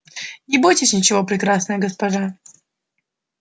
не бойтесь ничего прекрасная госпожа